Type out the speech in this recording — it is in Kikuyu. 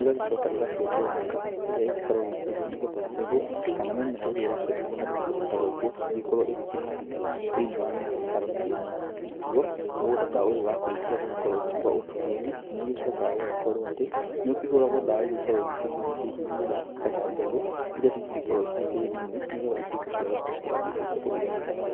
ĩgacoka ĩgakĩenjwo mĩkaro ĩrĩa ĩgĩkoragwo ĩkĩenjwo, nĩgetha mbegũ kana mĩmera ĩrĩa ĩrakĩenda kũhandwo kũndũ ta gũkũ ĩgagĩkorwo ĩkĩhandwo thĩiniĩ wa mĩkaro ta ĩno. Naguo mũgũnda ta ũyũ wakĩrĩkia gũkorwo ũgĩkwo ũndũ ta ũyũ, nĩũgĩcokaga ũgagĩkorwo atĩ nĩũkĩhũragwo ndawa iria igĩkoragwo ikĩgiria hihi ria kana mbegũ iria ingĩgĩkorwo cirĩ tĩri-inĩ ituĩke cia gũkua citigatuĩke cia kũgia mĩmera.